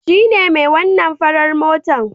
Shine mai wannan farar motar